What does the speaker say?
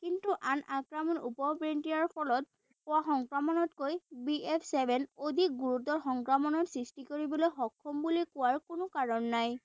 কিন্তু আন আক্ৰমণ উপ variant ৰ ফলত হোৱা সংক্ৰমনতকৈ বি এফ্ ছেভেন অধিক গুৰুতৰ সংক্ৰমণৰ সৃষ্টি কৰিবলৈ সক্ষম বুলি কোৱাৰ কোনো কাৰণ নাই।